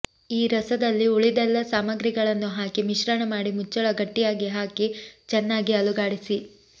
ಈ ರಸದಲ್ಲಿ ಉಳಿದೆಲ್ಲಾ ಸಾಮಾಗ್ರಿಗಳನ್ನು ಹಾಕಿ ಮಿಶ್ರಣ ಮಾಡಿ ಮುಚ್ಚಳ ಗಟ್ಟಿಯಾಗಿ ಹಾಕಿ ಚೆನ್ನಾಗಿ ಅಲುಗಾಡಿಸಿ